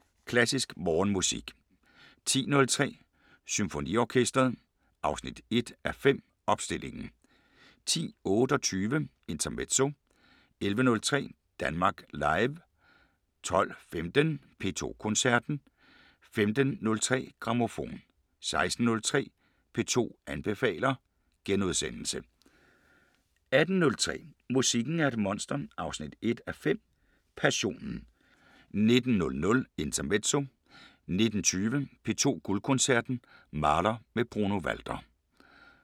07:03: Klassisk Morgenmusik 10:03: Symfoniorkesteret 1:5 – Opstillingen 10:28: Intermezzo 11:03: Danmark Live 12:15: P2 Koncerten 15:03: Grammofon 16:03: P2 anbefaler * 18:03: Musikken er et monster 1:5 – Passionen 19:00: Intermezzo 19:20: P2 Guldkoncerten: Mahler med Bruno Walter